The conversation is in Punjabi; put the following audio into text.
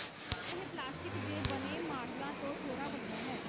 ਇਹ ਪਲਾਸਟਿਕ ਦੇ ਬਣੇ ਮਾਡਲਾਂ ਤੋਂ ਥੋੜਾ ਵੱਡਾ ਹੈ